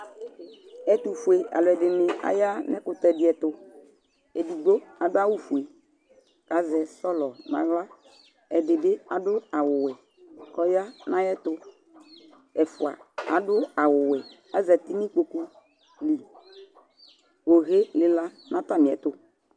ɔtufɔlɛdiní̂ awa nu ɛkutɛdiɛtu kabuayɔ fɛ kazɛselʊ nu aglɛ ɛdibi adʊ ayuwɛ kʊ ya ɛfua adu ayuwɛ ku ɔyanuaɛtu nu ɩkpokuli owɛlila nu ataniɛtɔ